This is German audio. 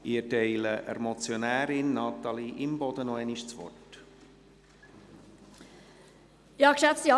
Ich erteile der Motionärin, Natalie Imboden, noch einmal das Wort.